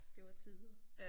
Det var tider